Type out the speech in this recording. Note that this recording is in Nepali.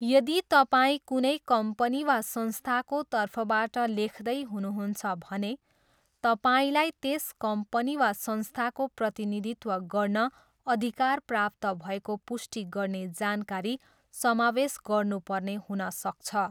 यदि तपाईँ कुनै कम्पनी वा संस्थाको तर्फबाट लेख्दै हुनुहुन्छ भने तपाईँलाई त्यस कम्पनी वा संस्थाको प्रतिनिधित्व गर्न अधिकार प्राप्त भएको पुष्टि गर्ने जानकारी समावेश गर्नुपर्ने हुन सक्छ।